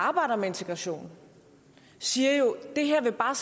arbejder med integration siger jo at det her bare